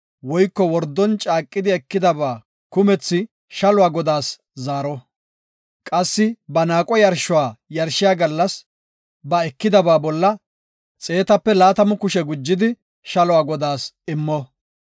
woyko wordon caaqidi ekida kumetha shaluwa godaas zaaro. Qassi ba naaqo yarshuwa yarshiya gallas ba ekidaba bolla xeetape laatamu kushe gujidi shaluwa godaas immo.